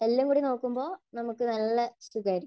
എല്ലാംകൂടി നോക്കുമ്പോൾ നമുക്ക് നല്ല സുഖമായിരിക്കും.